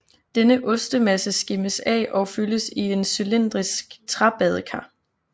Denne ostemasse skimmes af og fyldes i et cylindrisk træbadekar